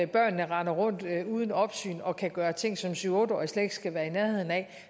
børnene render rundt uden opsyn og kan gøre ting som syv otte årige slet ikke skal være i nærheden af